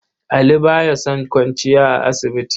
Ali ba ya son kwanciya a asibiti.